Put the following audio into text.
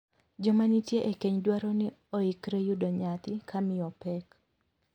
Joma nitie e keny dwaro ni oikre yudo nyathi ka miyo pek.